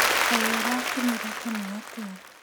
Kaĩ ũrakinyire tene atĩa?